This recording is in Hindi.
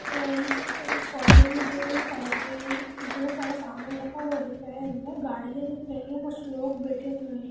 कॉर्नर में जो एगो साइड में बहुत सारा सामान रखा हुआ दिख रहा है अंदर गाड़ियां दिख रही है कुछ लोग बैठे हुये है।